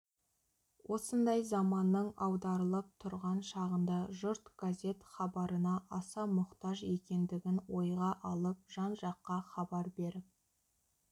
осындай заманның аударылып тұрған шағында жұрт газет хабарына аса мұқтаж екендігін ойға алып жан-жаққа хабар беріп